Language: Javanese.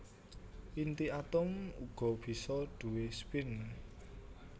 Inti atom uga bisa duwé spin